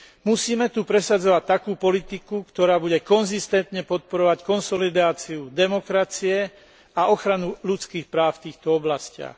Musíme tu presadzovať takú politiku, ktorá bude konzistentne podporovať konsolidáciu demokracie a ochranu ľudských práv v týchto oblastiach.